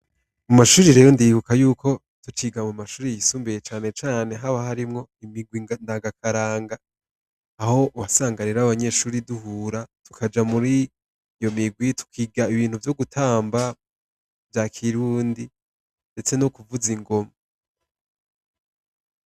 Ku mashure rero ndibuka yuko tucika ku mashure yisumbuye cane cane haba harimwo imigwi ndangakaranga, aho wasanga rero abanyeshure duhura tukaja muri iyo migwi tukiga ibintu vyo gutamba vya kirundi, ndetse n'ukuvuza ingoma.